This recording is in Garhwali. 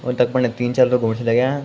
और तख्फन तीन चार लोग घुमन लग्याँ ।